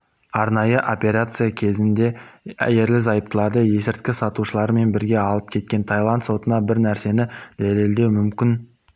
арнайы операция кезінде ерлі-зайыптыларды есірткі сатушылармен бірге алып кеткен тайланд сотына бір нәрсені дәлелдеу мүмкін